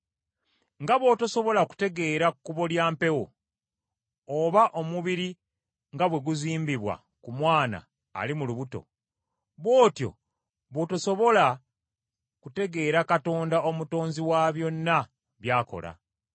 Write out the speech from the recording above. Nga bw’otosobola kutegeera kkubo mpewo, oba omubiri nga bwe guzimbibwa ku mwana ali mu lubuto; bw’otyo bw’otosobola kutegeera Katonda Omutonzi wa byonna by’akola.